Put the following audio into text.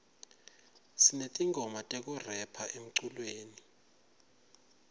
sinetingoma tekurepha emculweni